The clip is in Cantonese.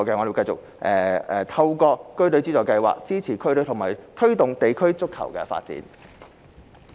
民政局會繼續透過區隊資助計劃，支持區隊和推動地區足球發展。